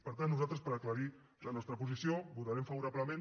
per tant nosaltres per aclarir la nostra posició hi votarem favorablement